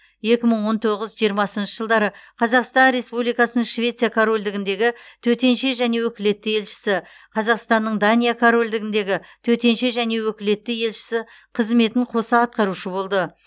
екі мың он тоғыз жиырмасыншы жылдары қазақстан республикасының швеция корольдігіндегі төтенше және өкілетті елшісі қазақстанның дания корольдігіндегі төтенше және өкілетті елшісі қызметін қоса атқарушы болды